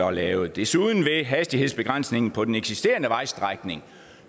er lavet desuden vil hastighedsbegrænsningen på den eksisterende vejstrækning